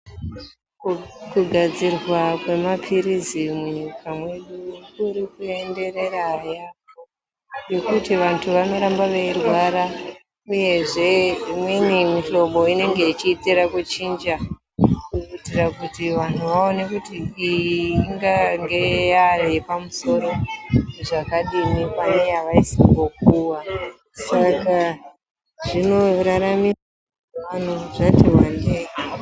Kudadzirwa kwemaphirizi munyika mwedu kuri kuenderera yaamho. Nekuti vantu vanoramba veirwara uyezve imweni mihlobo inenge ichiitira kuchinja. Kuitira kuti vantu vaone kuti ingange yaye pamusoro zvakadini, pane yavaisimbopuva saka zvinoraramisa vantu zvativandei.